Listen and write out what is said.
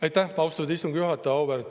Aitäh, austatud istungi juhataja!